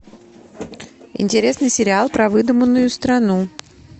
интересный сериал про выдуманную страну